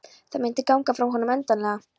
Það myndi ganga frá honum endanlega.